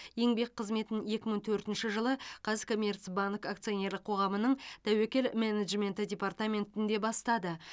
еңбек қызметін екі мың төртінші жылы қазкоммерцбанк акционерлік қоғамының тәуекел менеджменті департаментінде бастады